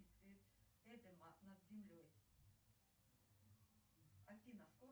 афина скоро ли придут деньги салют